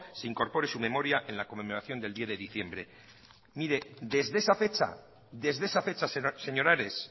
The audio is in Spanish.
se incorpore su memoria en la conmemoración del diez de diciembre desde esa fecha señor ares